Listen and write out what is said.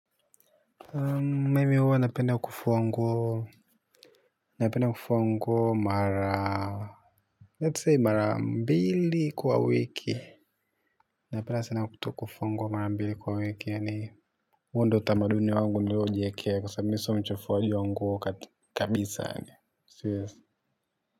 Mimi huwa napenda kufua nguo napenda kufua nguo mara let's say mara mbili kwa wiki napenda sana kufua nguo mara mbili kwa wiki yaani huo ndiyo utamaduni wangu niliojiwekea kwa sababu mimi siyo mchafuaji wa nguo kabisa yaani siwezi.